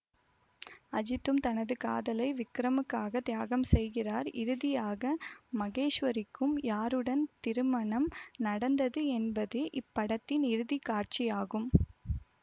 அஜித்தும் தனது காதலை விக்ரமுக்காக தியாகம் செய்கிறார் இறுதியாக மகேஷ்வரிக்கும் யாருடன் திருமணம் நடந்தது என்பதே இப்படத்தின் இறுதி காட்சியாகும்